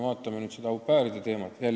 Vaatame nüüd seda au pair'ide teemat.